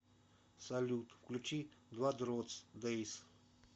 салют включи двадротс дэйс